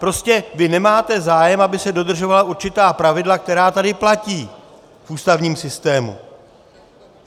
Prostě vy nemáte zájem, aby se dodržovala určitá pravidla, která tady platí v ústavním systému.